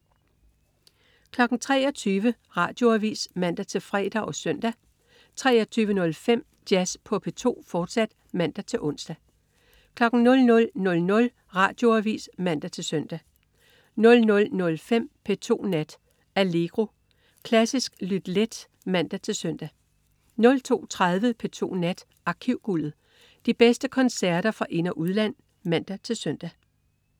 23.00 Radioavis (man-fre og søn) 23.05 Jazz på P2, fortsat (man-ons) 00.00 Radioavis (man-søn) 00.05 P2 Nat. Allegro. Klassisk lyt let (man-søn) 02.30 P2 Nat. Arkivguldet. De bedste koncerter fra ind- og udland (man-søn)